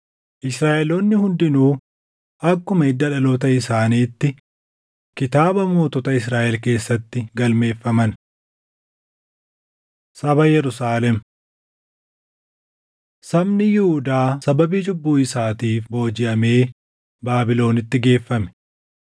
Israaʼeloonni hundinuu akkuma hidda dhaloota isaaniitti kitaaba mootota Israaʼel keessatti galmeeffaman. Saba Yerusaalem 9:1‑17 kwf – Nah 11:3‑19 Sabni Yihuudaa sababii cubbuu isaatiif boojiʼamee Baabilonitti geeffame.